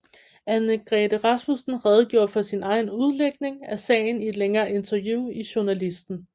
Annegrethe Rasmussen redegjorde for sin egen udlægning af sagen i et længere interview i Journalisten